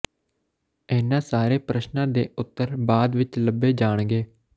ਇਹਨਾਂ ਸਾਰੇ ਪ੍ਰਸ਼ਨਾਂ ਦੇ ਉੱਤਰ ਬਾਅਦ ਵਿੱਚ ਲੱਭੇ ਜਾਣਗੇ